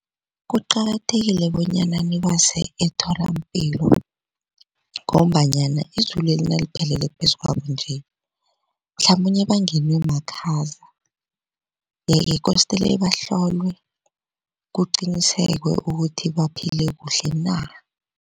Kuqakathekile bonyana nibase etholampilo ngombanyana izulweli naliphelele phezu kwabo nje mhlamunye bangenwe makhaza yeke kostele bahlolwe kuqinisekwe ukuthi baphile kuhle na.